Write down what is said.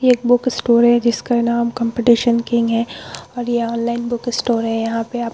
ये एक book store है जिसका नाम कॉम्पिटिशन किंग है और यह ऑनलाइन बुक स्टोर है यहाँ पे आप --